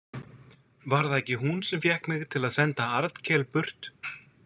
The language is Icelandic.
Var það ekki hún sem fékk mig til að senda Arnkel burt?